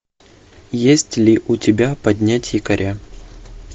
есть ли у тебя поднять якоря